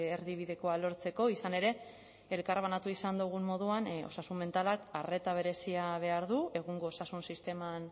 erdibidekoa lortzeko izan ere elkarbanatu izan dugun moduan osasun mentalak arreta berezia behar du egungo osasun sisteman